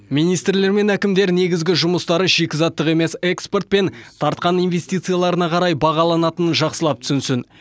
министрлер мен әкімдер негізгі жұмыстары шикізаттық емес экспорт пен тартқан инвестицияларына қарай бағаланатынын жақсылап түсінсін